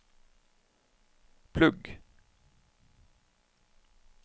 plugg